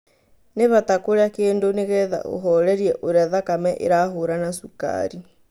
Nĩ bata kũria kĩndũ nĩgetha ũhorerie ũria thakame ĩrahũra na cukari